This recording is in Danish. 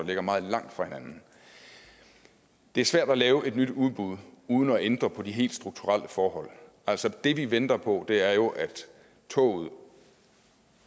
ligger meget langt fra hinanden det er svært at lave et nyt udbud uden at ændre på de helt strukturelle forhold altså det vi venter på er jo at toget